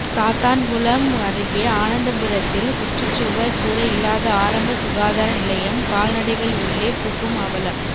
சாத்தான்குளம் அருகே ஆனந்தபுரத்தில் சுற்றுச்சுவர் கூட இல்லாத ஆரம்ப சுகாதார நிலையம் கால்நடைகள் உள்ளே புகும் அவலம்